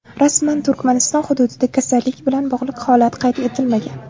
Rasman Turkmaniston hududida kasallik bilan bog‘liq holat qayd etilmagan.